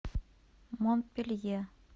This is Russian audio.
монпелье